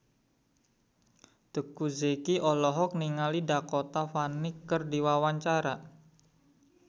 Teuku Zacky olohok ningali Dakota Fanning keur diwawancara